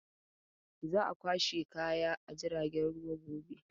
Za a kwashe kaya a jirgin ruwa gobe.